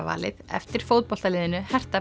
valið eftir fótboltaliðinu